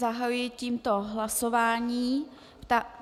Zahajuji tímto hlasování.